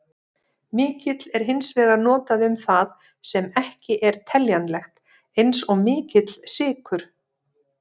Mikill er hins vegar notað um það sem ekki er teljanlegt, eins og mikill sykur.